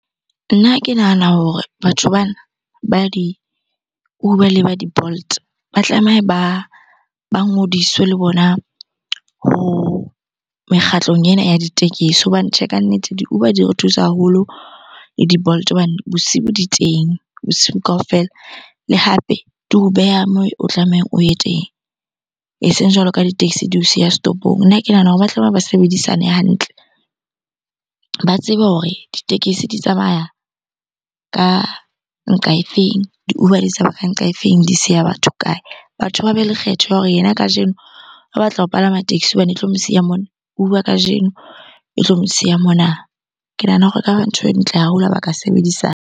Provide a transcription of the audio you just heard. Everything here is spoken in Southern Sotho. Nna ke nahana hore batho bana ba di-Uber le ba di-Bolt, ba tlameha ba ngodiswe le bona ho mekgatlong ena ya ditekesi. Hobane tjhe, kannete di-Uber di re thusa haholo le di-bolt hobane bosibu di teng, bosiu kaofela. Le hape di o beha moo o tlamehang o ye teng, eseng jwalo ka di-axi di o siya setopong. Nna ke nahana hore ba tlameha ba sebedisane hantle, ba tsebe hore ditekesi di tsamaya ka nqa e feng? Di-Uber di tsamaya ka nqa e feng? Di siya batho kae? Batho ba be le kgetho ya hore yena kajeno o batla ho palama taxi hobane e tlo mo siya mona, Uber kajeno e tlo mo siya mona. Ke nahana hore ekaba ntho e ntle haholo ha ba ka sebedisana.